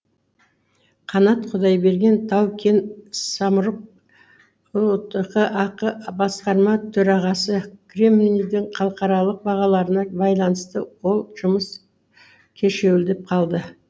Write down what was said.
қанат құдайберген тау кен самұрық ұтк ақ басқарма төрағасы кремнийдің халықаралық бағаларына байланысты ол жұмыс кешеуілдеп қалды